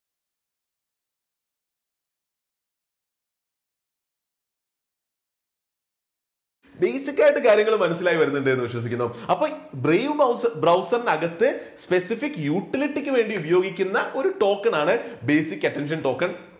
basic ആയിട്ട് കാര്യങ്ങൾ മനസ്സിലായി വരുന്നുണ്ട് എന്ന് വിശ്വസിക്കുന്നു. അപ്പോ brave browser നകത്ത് specific utility ക്ക് വേണ്ടി ഉപയോഗിക്കുന്ന ഒരു token ആണ് basic attention token